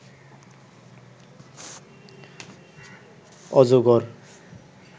অজগর